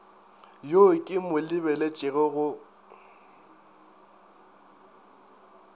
yo ke mo lebeletšego go